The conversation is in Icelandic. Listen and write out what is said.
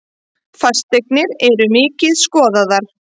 Fasteignir eru mikið skoðaðar